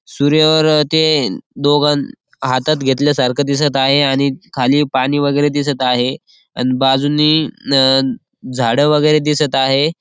सूर्यावर ते दोघ हातात घेतल्या सारख दिसत आहे आणि खाली पाणी वगेरे दिसत आहे अन बाजूनी झाड वगेरे दिसत आहे.